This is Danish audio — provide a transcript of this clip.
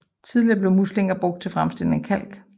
Tidligere blev muslingerne brugt til fremstilling af kalk